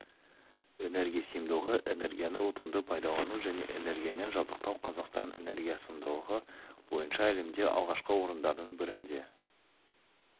энергия сиымдылығы энергияны ұтымды пайдалану және энергиямен жабдықтау қазақстан энергиясиымдылығы бойынша әлемде алғашқы орындардың бірінде